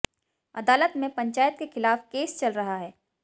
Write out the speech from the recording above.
अदालत में पंचायत के खिलाफ केस चल रहा है